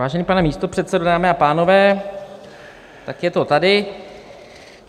Vážený pane místopředsedo, dámy a pánové, tak je to tady.